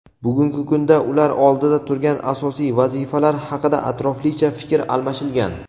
bugungi kunda ular oldida turgan asosiy vazifalar haqida atroflicha fikr almashilgan.